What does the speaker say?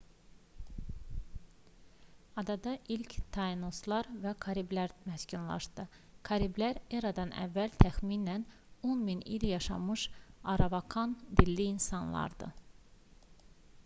adada ilk tainoslar və kariblilər məskunlaşdı. kariblilər e.ə təxminən 10000 il yaşamış aravakan-dilli insanlardı